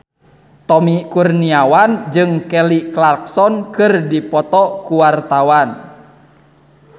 Tommy Kurniawan jeung Kelly Clarkson keur dipoto ku wartawan